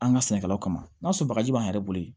An ka sɛnɛkɛlaw kama n'a sɔrɔ bagaji b'an yɛrɛ bolo